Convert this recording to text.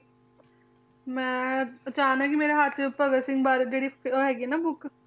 ਮੈਂ ਅਚਾਨਕ ਹੀ ਮੇਰੇ ਹੱਥ 'ਚ ਭਗਤ ਸਿੰਘ ਬਾਰੇ ਜਿਹੜੀ ਹੈਗੀ ਹੈ ਨਾ book